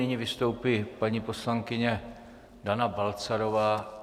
Nyní vystoupí paní poslankyně Dana Balcarová.